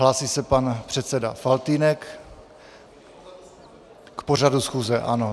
Hlásí se pan předseda Faltýnek K pořadu schůze, ano.